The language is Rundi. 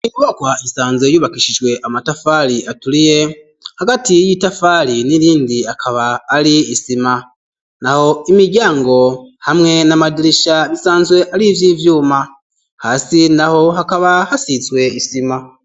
Imubokwa isanze yubakishijwe amatafali aturiye hagatiy y'itafali n'irindi akaba ari isima na ho imiryango hamwe n'amadirisha bisanzwe ari ivyo ivyuma hasi na ho hakaba hasitswe isima.